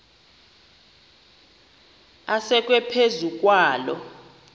asekwe phezu kwaloo